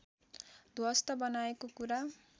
ध्वस्त बनाएको कुरा